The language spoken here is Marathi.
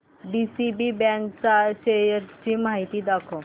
डीसीबी बँक च्या शेअर्स ची माहिती दाखव